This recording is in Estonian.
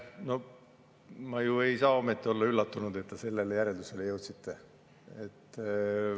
No ma ju ei saa ometi olla üllatunud, et te sellisele järeldusele jõudsite.